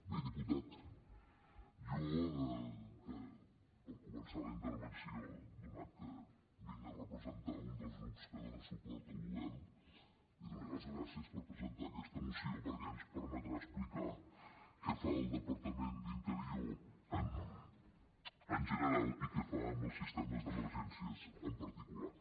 bé diputat jo per començar la intervenció donat que vinc a representar un dels grups que dona suport al govern li donaria les gràcies presentar aquesta moció perquè ens permetrà explicar què fa el departament d’interior en general i què fa amb els sistemes d’emergències en particular